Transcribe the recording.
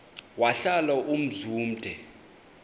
wahlala umzum omde